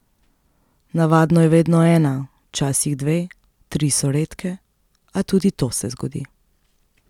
Navadno je vedno ena, včasih dve, tri so redke, a tudi to se zgodi.